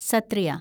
Sattriya